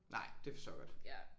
Nej det forstår jeg godt